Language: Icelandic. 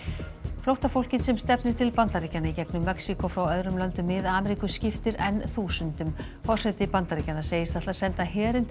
flóttafólkið sem stefnir til Bandaríkjanna í gegnum Mexíkó frá öðrum löndum Mið Ameríku skiptir enn þúsundum forseti Bandaríkjanna segist ætla að senda herinn til